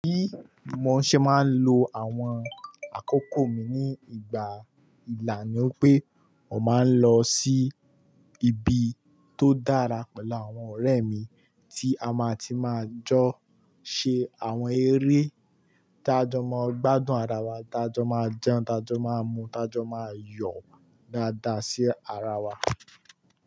Bí mo ṣe máa ń lo àwọn àkókò mi ní ìgbà ìlà ni pé mò máa ń lọ sí ibi tó dára pẹ̀lú àwọn ọ̀rẹ́ mi tí a máa ti máa jọ ṣe àwọn eré tá jọ máa gbádùn ara wa, tá jọ máa jẹun, tá jọ máa mu, tá jọ máa yọ̀ dáadáa sí ara wa.